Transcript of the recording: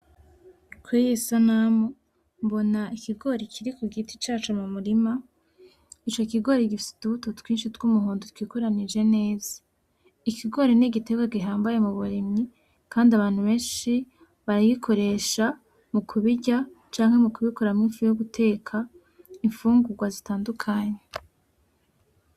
Kuriyi sanamu mbona ikigori kiri kugiti caco mumurima, ico kigori gifise utubuto twinshi twumuhondo twikoranije neza, ikigori n'igiterwa gihambaye muburimyi kandi abantu benshi barayikoresha mukubirya canke mukubikuramwo ifu yoguteka, imfugurwa zitandukanye.